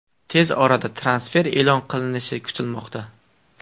Tez orada transfer e’lon qilinishi kutilmoqda.